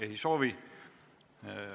Ei soovi.